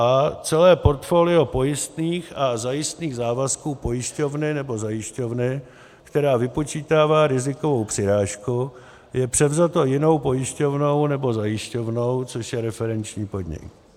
a) celé portfolio pojistných a zajistných závazků pojišťovny nebo zajišťovny, která vypočítává rizikovou přirážku, je převzato jinou pojišťovnou nebo zajišťovnou, což je referenční podnik;